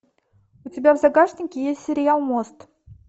у тебя в загашнике есть сериал мост